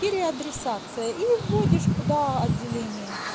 переадресация или вводишь куда отделение